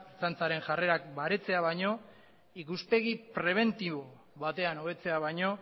ertzantzaren jarrerak baretzea baino ikuspegi prebentibo batean hobetzea baino